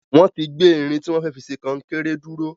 Wọ́n ti gbé irin tí wọ́n fẹ́ fi ṣe kọnkéré dúró.